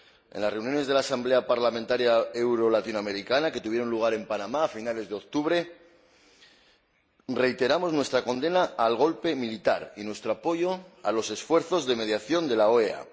En las reuniones de la Asamblea Parlamentaria Euro Latinoamericana que tuvieron lugar en Panamá a finales de octubre, reiteramos nuestra condena del golpe militar y nuestro apoyo a los esfuerzos de mediación de la OEA.